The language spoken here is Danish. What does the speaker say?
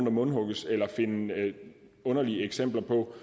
og mundhugges eller finde underlige eksempler på